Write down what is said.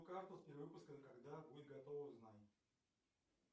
карта с перевыпуска когда будет готова узнай